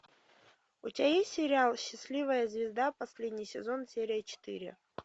у тебя есть сериал счастливая звезда последний сезон серия четыре